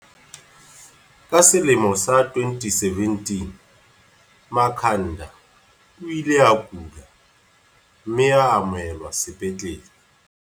Ka selemo sa 2017, Makha nda o ile a kula, mme a amohelwa sepetlele.